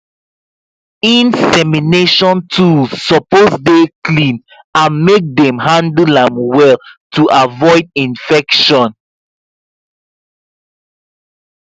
insemination tools suppose dey clean and make dem handle am well to avoid infection